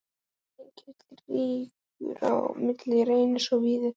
Er mikill rígur á milli Reynis og Víðis?